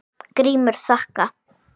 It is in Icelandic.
GRÍMUR: Þakka.